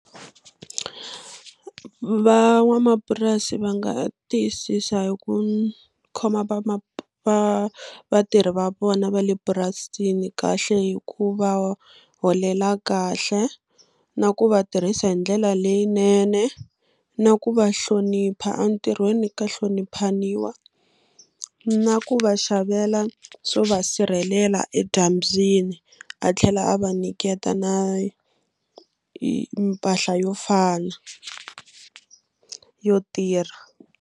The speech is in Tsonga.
Van'wamapurasi va nga tiyisisa hi ku khoma vatirhi va vona va le purasini kahle hi ku va holela kahle na ku va tirhisa hi ndlela leyinene na ku va hlonipha entirhweni ka hloniphaniwa na ku va xavela swo va sirhelela edyambyini a tlhela a va nyiketa na mpahla yo fana yo tirha.